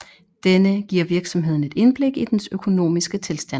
Denne giver virksomheden et indblik i dens økonomiske tilstand